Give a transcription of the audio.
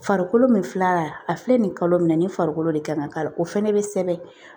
Farikolo min filɛ la a filɛ nin ye kalo minɛ ni farikolo de kan ka k'a la o fɛnɛ bɛ sɛbɛn